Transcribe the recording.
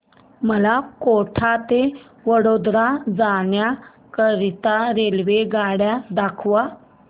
मला कोटा ते वडोदरा जाण्या करीता रेल्वेगाड्या दाखवा